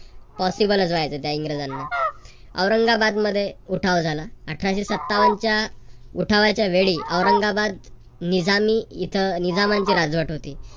possible च राहायच त्या इंग्रजांना. औरंगाबादमध्ये उठाव झाला. अठराशे सत्तावनच्या उठावाच्या वेळी औरंगाबाद निजामी इथं निजामाची राजवट होती.